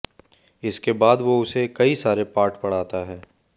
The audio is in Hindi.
इसके बाद वो उसे कई सारे पाठ पढ़ाता है